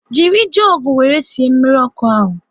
Jiri jugu wéré sie mmiri ọkụ ahu